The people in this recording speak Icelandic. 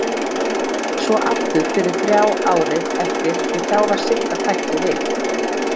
Svo aftur fyrir þrjá árið eftir því þá var Sigga fædd og við